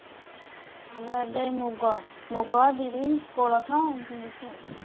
ଆମର ଏବେ ମୁଗ ମୁଗ, ବିରି, କୋଳଥ ଏମିତି ହେଇଛି ଆଉ।